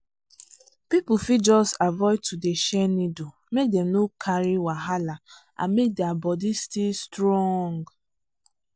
people fit just avoid to dey share needle make dem no carry wahala and make der body still strong.